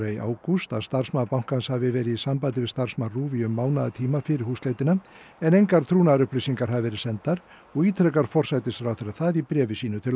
í ágúst að starfsmaður bankans hafi verið í sambandi við starfsmann RÚV í um mánaðartíma fyrir húsleitina en engar trúnaðarupplýsingar hafi verið sendar og ítrekar forsætisráðherra það í bréfi sínu til